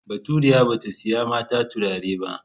Baturiya ba ta saya mata turare ba.